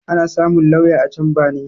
Ana samun lauya a camba ne